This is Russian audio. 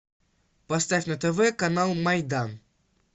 поставь на тв канал майдан